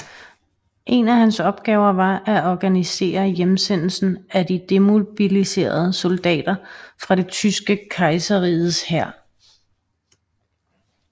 En af hans opgaver var at organisere hjemsendelsen af de demobiliserede soldater fra Det tyske kejserriges hær